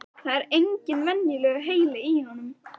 Það er engin venjulegur heili í honum.